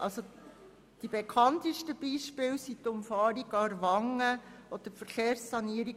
Die bekanntesten Beispiele sind die Umfahrung Aarwangen und die Verkehrssanierung